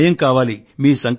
మీ సమయం కావాలి